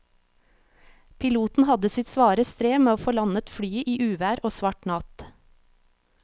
Piloten hadde sitt svare strev med å få landet flyet i uvær og svart natt.